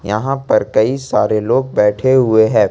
यहां पर कई सारे लोग बैठे हुए है।